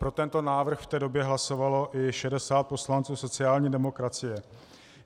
Pro tento návrh v té době hlasovalo i 60 poslanců sociální demokracie.